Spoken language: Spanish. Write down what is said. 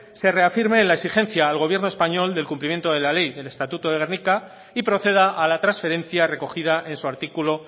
se reafirme en la exigencia al gobierno español del cumplimiento de la ley del estatuto de gernika y proceda a la transferencia recogida en su artículo